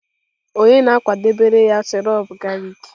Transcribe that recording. Ònye na-akwadebere ya sirop galik?